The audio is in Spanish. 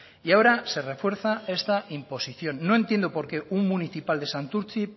y ahora se refuerza esta imposición no entiendo por qué un municipal de santurtzi